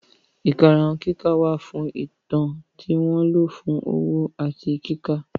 Ìkarahun kíkà wà fún Ìtàn tí wọ́n lò fún òwò àti kíkà.